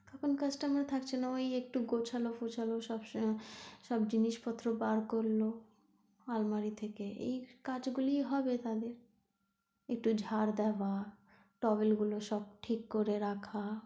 তখন customer থাকছে না ওই একটু গোছানো ফোছানো সব, সব জিনিসপত্র বার করলো আলমারি থেকে এই কাজ গুলি হবে তাহলে এই হয়ত ঝাঁট দেওয়া তবে এইগুলো সব ঠিক করে রাখা,